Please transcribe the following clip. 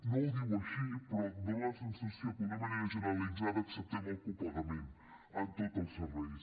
no ho diu així però dona la sensació que d’una manera generalitzada acceptem el copagament en tots els serveis